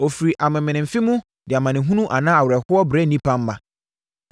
Ɔfiri amemenemfe mu de amanehunu anaa awerɛhoɔ brɛ nnipa mma.